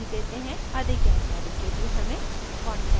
अधिक जानकारी के लिए हमें contact@spokentutorialorg पर संपर्क करें